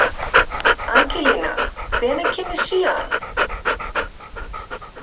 Angelína, hvenær kemur sjöan?